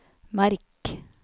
merk